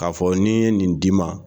K'a fɔ n'i ye nin d'i ma